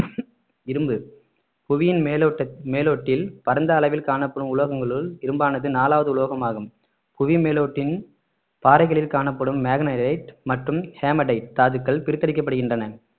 இரும்பு புவியின் மேலோட்ட~ மேலோட்டில் பரந்த அளவில் காணப்படும் உலோகங்களுள் இரும்பானது நாலாவது உலோகம் ஆகும் புவி மேலோட்டின் பாறைகளில் காணப்படும் மேக்னனைட் மற்றும்ஹேமடைட் தாதுக்கள் பிரித்தெடுக்கப்படுகின்றன